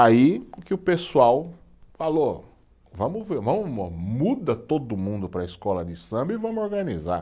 Aí o que o pessoal falou, vamos ver, muda todo mundo para a escola de samba e vamos organizar.